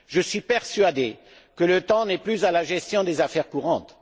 Je suis persuadé que le temps n'est plus à la gestion des affaires courantes.